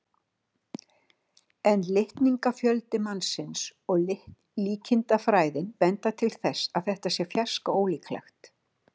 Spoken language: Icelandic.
En litningafjöldi mannsins og líkindafræðin benda til þess að þetta sé fjarska ólíklegt.